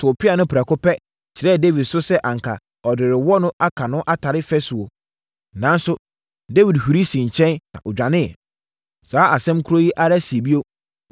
too pea no prɛko pɛ kyerɛɛ Dawid so sɛ anka ɔde rewɔ no aka no atare fasuo. Nanso, Dawid huri sii nkyɛn na ɔdwaneeɛ. Saa asɛm korɔ yi ara sii bio,